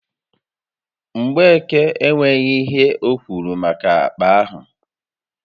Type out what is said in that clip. Mgbeke enwéghị ihe okwuru maka akpa ahụ